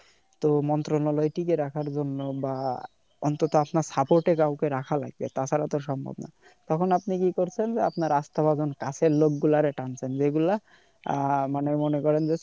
তো মন্ত্রনালয় টিকে রাখার জন্য বা অন্তত আপনার support এ কাউকে রাখা লাগবে তাছাড়া তো সম্ভব না তখন আপনি কি করছেন যে আপনি আস্থাভাজন কাছের লোক গুলারে টানছেন যে গুলা আহ মানে মনে করেন যে